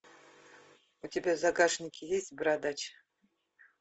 у тебя в загашнике есть бородач